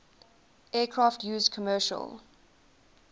aircraft used commercial